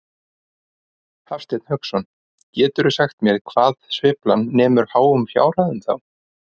Hafsteinn Hauksson: Geturðu sagt mér hvað sveiflan nemur háum fjárhæðum þá?